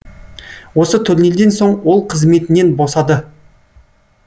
осы турнирден соң ол қызметінен босады